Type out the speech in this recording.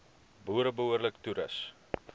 boere behoorlik toerus